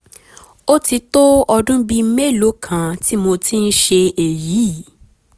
ó ti tó ọdún bíi mélòó kan tí mo ti ń ṣe èyí